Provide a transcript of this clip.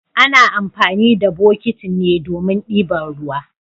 Ana amfani da botiki ne domin dibar ruwa.